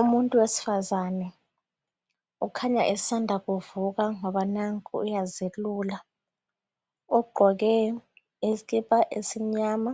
Umuntu wesifazana ukhanya esanda kuvuka ngoba nanku uyazelula ugqoke isikipa esimnyama